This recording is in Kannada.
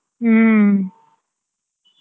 ಹ್ಮ್.